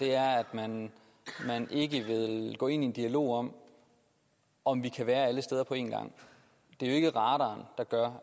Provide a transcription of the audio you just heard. er at man ikke vil gå ind i en dialog om om vi kan være alle steder på en gang det er jo ikke radaren der gør